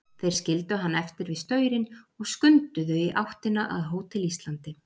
Þeir skildu hann eftir við staurinn og skunduðu í áttina að Hótel Íslandi.